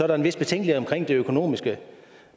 der en vis betænkelighed med hensyn til det økonomiske